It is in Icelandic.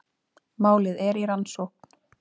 Málið er í rannsókn